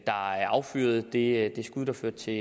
der affyrede det skud der førte til